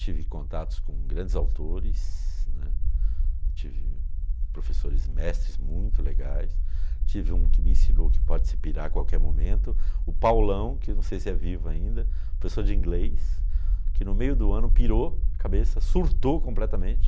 Tive contatos com grandes autores, né, tive professores mestres muito legais, tive um que me ensinou que pode se pirar a qualquer momento, o Paulão, que não sei se é vivo ainda, professor de inglês, que no meio do ano pirou a cabeça, surtou completamente.